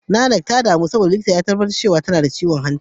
Nanak ta damu cewa za ta mutu saboda, likita ya tabbatar tana da ciwon hanta.